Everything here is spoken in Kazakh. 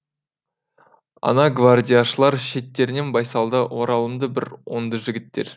ана гвардияшылар шеттерінен байсалды оралымды бір оңды жігіттер